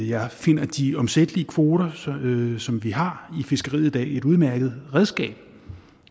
jeg finder at de omsættelige kvoter som som vi har i fiskeriet i dag er et udmærket redskab